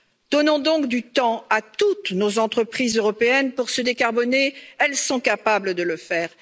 Donnons donc du temps à toutes nos entreprises européennes pour se décarboner, elles sont capables de le faire